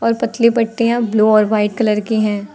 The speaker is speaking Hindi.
और पतली पट्टियां ब्लू और वाइट कलर की हैं।